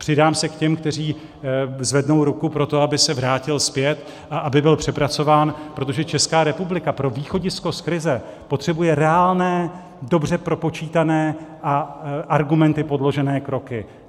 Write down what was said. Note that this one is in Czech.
Přidám se k těm, kteří zvednou ruku pro to, aby se vrátil zpět a aby byl přepracován, protože Česká republika pro východisko z krize potřebuje reálné, dobře propočítané a argumenty podložené kroky.